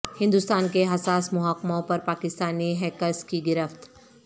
ہندوستان کے حساس محکموں پر پاکستانی ہیکرس کی گرفت